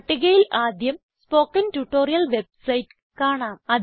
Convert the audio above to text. പട്ടികയിൽ ആദ്യം spoken tutorial website കാണാം